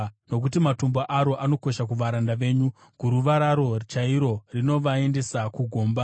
Nokuti matombo aro anokosha kuvaranda venyu; guruva raro chairo rinovaendesa kugomba.